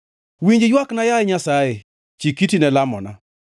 Winj ywakna, yaye Nyasaye; chik iti ne lamona.